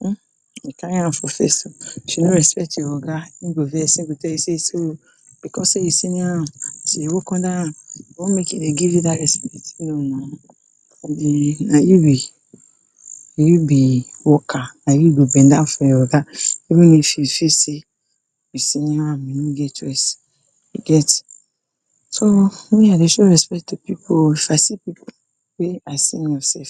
um dey carry am for face o. If you no respect your oga him go vex, him go tell you sey so because sey you senior am you no come dat one you want make e give you dat respect no na na you be worker na you go bend down for your oga even if you see sey you senior am you no get choice you get. So me I dey show respect to pipu o, if I see pipu wey I senior self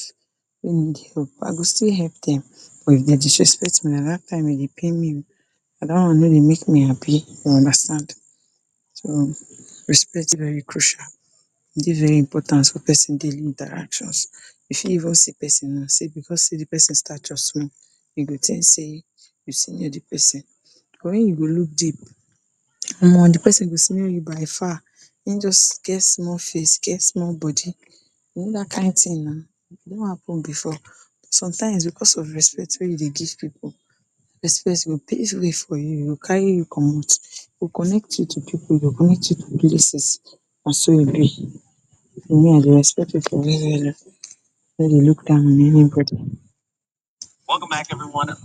wey no dey up I go still help dem but if dem disrespect me na dat time e dey pain me o dat one no dey make me happy you understand so respect very crucial e dey very important for pesin daily interactions you fit even see pesin sey because sey di pesin stature small you go tink sey you senior di pesin bbut when you go look deep, um di pesin go senior you by far him just get small face get small body you know dat kain tin now e don happen before. Sometimes because of respect wey you dey give pipu, respect go pave way for you go carry you commot, go connect you to pipu o connect you to places na so e be so me I dey respect pipu well well I no dey look down on anybody